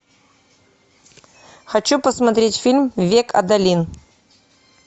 хочу посмотреть фильм век адалин